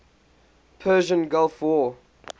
persian gulf war